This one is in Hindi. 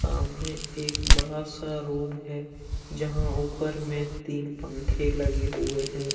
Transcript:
अमने एक बड़ा सा रूम है जहां ऊपर में तीन पंखे लगे हुए हैं।